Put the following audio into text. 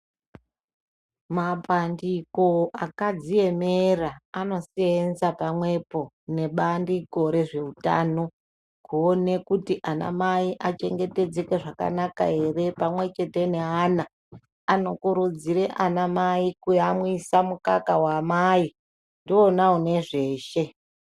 Mapandiko akadziemera anosenza pamwepo nebandiko rezveutano kuone kuti anamai achengetedzeke zvakanaka ere pamwechete neana, anokurudzire anamai kuyamwisa mukaka waamai ndiwona unezveshe.